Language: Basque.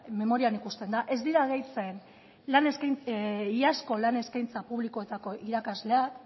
memorian ikusten da ez dira gehitzen iazko lan eskaintza publikoetako irakasleak